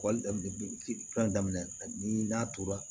daminɛ ani n'a tora